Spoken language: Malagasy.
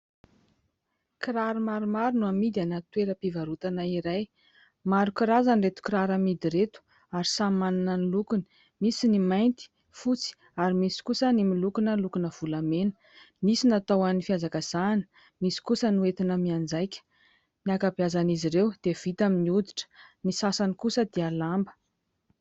Kiraro maromaro no amidy anaty toeram-pivarotana iray. Maro karazana ireto kiraro amidy ireto ary samy manana ny lokony : misy ny mainty, fotsy ary misy kosa ny miloko lokona volamena. Misy natao ho an'ny fihazakazahana, misy kosa ny hoentina mianjaika. Ny ankabeazan'izy ireo dia vita amin'ny hoditra, ny sasany kosa dia lamba.